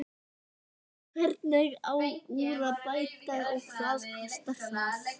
Hvernig á úr að bæta og hvað kostar það?